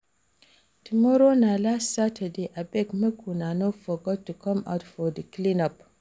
Tomorrow na last Saturday abeg make una no forget to come out for clean up